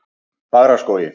Fagraskógi